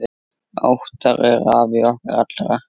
Óttar er afi okkar allra.